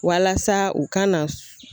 Walasa u kana na